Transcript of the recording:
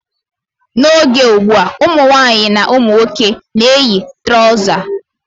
N' oge ugbua, ụmụnwaanyị na ụmụnwoke na-eyi trọza.